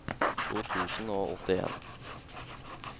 to tusen og åttien